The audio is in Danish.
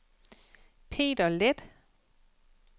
Peter Leth